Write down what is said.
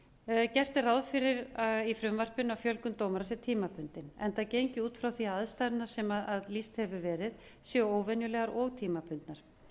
dómara gert er ráð fyrir í frumvarpinu að fjölgun dómara sé tímabundin enda gengið út frá því að aðstæðurnar sem lýst hefur verið séu óvenjulegar og tímabundnar